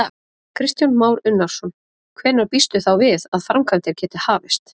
Kristján Már Unnarsson: Hvenær býstu þá við að framkvæmdir geti hafist?